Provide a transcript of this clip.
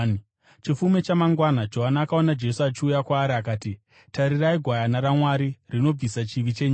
Chifume chamangwana Johani akaona Jesu achiuya kwaari akati, “Tarirai, Gwayana raMwari, rinobvisa chivi chenyika!